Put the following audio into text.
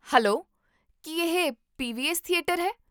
Hello, ਕੀ ਇਹ PVS. Theatre ਹੈ?